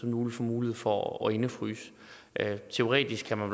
nu få mulighed for at indefryse teoretisk kan man